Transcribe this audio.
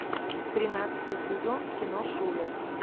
тринадцатый сезон кино шулер